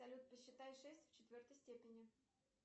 салют посчитай шесть в четвертой степени